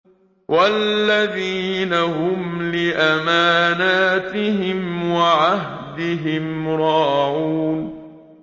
وَالَّذِينَ هُمْ لِأَمَانَاتِهِمْ وَعَهْدِهِمْ رَاعُونَ